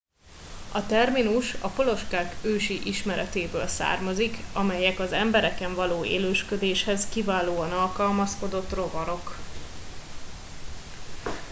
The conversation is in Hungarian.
a terminus a poloskák ősi ismeretéből származik amelyek az embereken való élősködéshez kiválóan alkalmazkodott rovarok